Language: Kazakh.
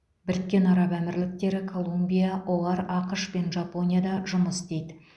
біріккен араб әмірліктері колумбия оар ақш пен жапонияда жұмыс істейді